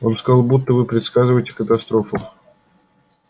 он сказал будто вы предсказываете катастрофу